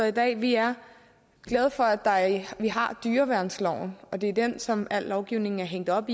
i dag vi er glade for at vi har dyreværnsloven og det er den som al lovgivning er hængt op